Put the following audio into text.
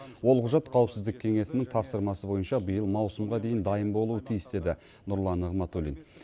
ол құжат қауіпсіздік кеңесінің тапсырмасы бойынша биыл маусымға дейін дайын болуы тиіс деді нұрлан нығматулин